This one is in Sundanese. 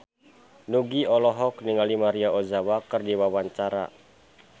Nugie olohok ningali Maria Ozawa keur diwawancara